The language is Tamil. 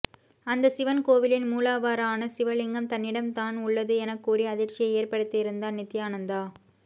அந்த சிவன் கோவிலின் மூலவரான சிவ லிங்கம் தன்னிடம்தான் உள்ளது எனக்கூறி அதிர்ச்சியை ஏற்பத்திருந்தார் நித்தியானந்தா